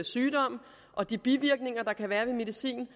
sygdommen og de bivirkninger der kan være ved medicin